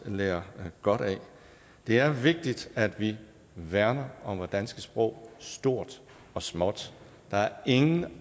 lære godt af det er vigtigt at vi værner om vores danske sprog stort og småt der er ingen